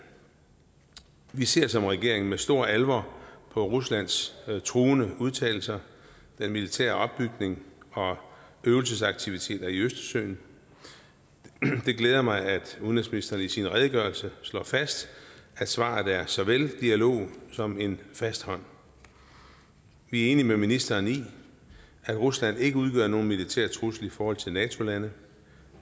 vi ser som regeringen med stor alvor på ruslands truende udtalelser den militære opbygning og øvelsesaktiviteter i østersøen det glæder mig at udenrigsministeren i sin redegørelse slår fast at svaret er såvel dialog som en fast hånd vi er enige med ministeren i at rusland ikke udgør nogen militær trussel i forhold til nato lande